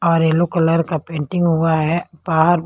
और yellow colour का painting हुआ है बाहर--